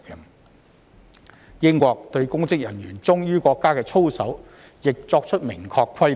此外，英國對公職人員忠於國家的操守亦作出明確的規定。